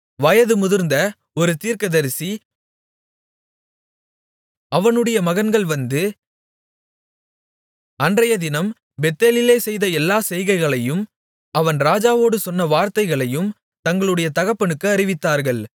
வயது முதிர்ந்த ஒரு தீர்க்கதரிசி பெத்தேலிலே குடியிருந்தான் அவனுடைய மகன்கள் வந்து தேவனுடைய மனிதன் அன்றையதினம் பெத்தேலிலே செய்த எல்லா செய்கைகளையும் அவன் ராஜாவோடு சொன்ன வார்த்தைகளையும் தங்களுடைய தகப்பனுக்கு அறிவித்தார்கள்